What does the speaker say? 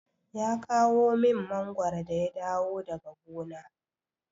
Ya kawo min mangwaro da ya dawo daga gona.